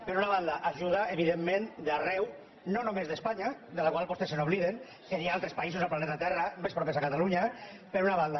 per una banda ajuda evidentment d’arreu no només d’espanya de la qual vostès s’obliden que hi ha altres països al planeta terra més propers a catalunya per una banda